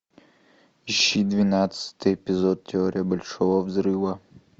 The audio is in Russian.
ищи двенадцатый эпизод теория большого взрыва